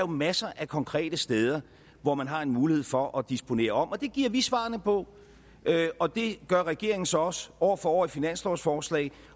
masser af konkrete steder hvor man har en mulighed for at disponere om det giver vi svarene på og det gør regeringen så også år for år i finanslovsforslag